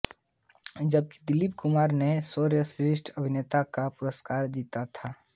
जबकि दिलीप कुमार ने सर्वश्रेष्ठ अभिनेता का पुरस्कार जीता था